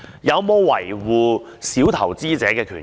有否維護小投資者的權益？